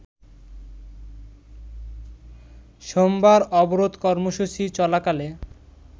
সোমবার অবরোধ কর্মসূচি চলাকালে